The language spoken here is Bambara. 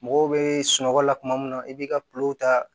Mɔgɔw bɛ sunɔgɔ la tuma min na i b'i ka pipiniyɛri